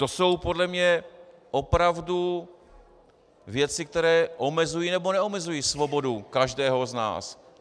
To jsou podle mě opravdu věci, které omezují nebo neomezují svobodu každého z nás.